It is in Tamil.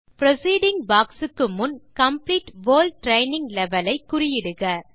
புரோசீடிங் பாக்ஸ் க்கு முன் காம்ப்ளீட் வோல் ட்ரெய்னிங் லெவல் ஐ குறியீடுக